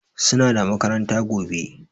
Suna da makaranta gobe